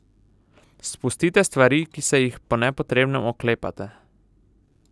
Spustite stvari, ki se jih po nepotrebnem oklepate.